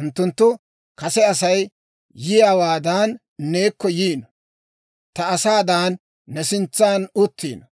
Unttunttu kase Asay yiyaawaadan neekko yiino; ta asaadan ne sintsan uttiino;